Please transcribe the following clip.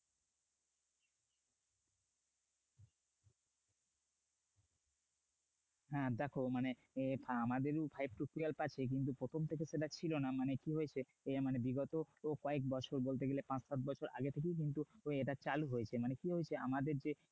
হ্যা দেখো মানে হ্যা দেখো মানে আমাদেরও five to twelve আছে কিন্তু প্রথম থেকে ছিল না মানে কি হয়েছে বিগত কয়েক বছর বলতে গেলে পাঁচ সাত বছর আগে থেকেই কিন্তু এটা চালু হয়েছে মানে কি হয়েছে আমাদের যে